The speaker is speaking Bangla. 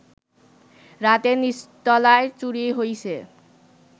রাতে নিচতলায় চুরি হইছে